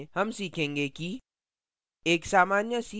इस tutorial में हम सीखेंगे कि